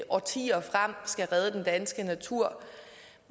årtier frem skal redde den danske natur